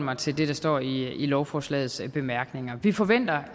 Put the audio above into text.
mig til det der står i lovforslagets bemærkninger vi forventer